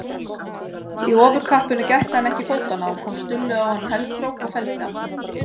Í ofurkappinu gætti hann ekki fótanna og kom Stulli á hann hælkrók og felldi hann.